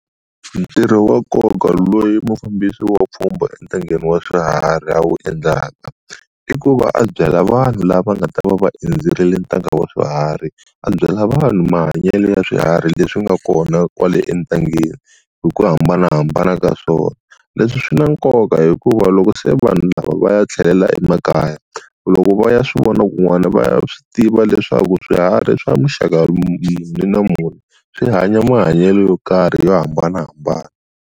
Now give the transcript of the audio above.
Ntirho wa nkoka loyi mufambisi wa pfhumba entangeni wa swiharhi a wu endlaka i ku va a byela vanhu lava nga ta va va endzerile ntanga wa swiharhi a byela vanhu mahanyelo ya swiharhi leswi nga kona kwale entlangeni hi ku hambanahambana ka swona leswi swi na nkoka hikuva loko se vanhu lava va ya tlhelela emakaya loko va ya swi vona kun'wana va swi tiva leswaku swiharhi swa muxaka swi hanya mahanyelo yo karhi yo hambanahambana.